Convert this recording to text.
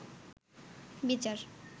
বিচার